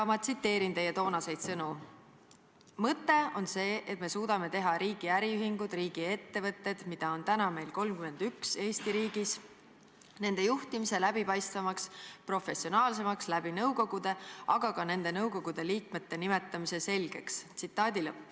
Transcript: Ma tsiteerin teie toonaseid sõnu: "Mõte on see, et me suudame teha riigi äriühingud, riigi ettevõtted, mida on täna meil 31 Eesti riigis, nende juhtimise läbipaistvamaks, professionaalsemaks läbi nõukogude, aga ka nende nõukogude liikmete nimetamise selgeks.